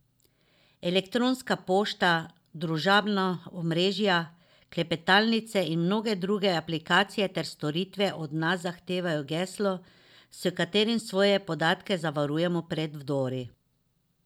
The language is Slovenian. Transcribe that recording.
Elektronska pošta, družabna omrežja, klepetalnice in mnoge druge aplikacije ter storitve od nas zahtevajo geslo, s katerim svoje podatke zavarujemo pred vdori.